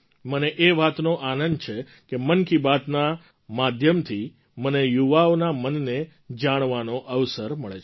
મને એ વાતનો આનંદ છે કે મન કી બાતના માધ્યમથી મને યુવાઓના મનને પણ જાણવાનો અવસર મળે છે